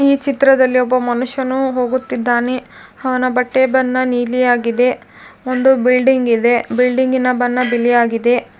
ಈ ಚಿತ್ರದಲ್ಲಿ ಒಬ್ಬ ಮನುಷ್ಯನು ಹೋಗುತ್ತಿದ್ದಾನೆ ಅವನ ಬಟ್ಟೆ ಬಣ್ಣ ನೀಲಿಯಾಗಿದೆ. ಒಂದು ಬಿಲ್ಡಿಂಗ್ ಇದೆ ಬಿಲ್ಡಿಂಗ್ ಇನ ಬಣ್ಣ ಬಿಳಿಯಾಗಿದೆ.